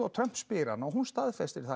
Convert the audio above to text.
Trump spyr hana og hún staðfestir að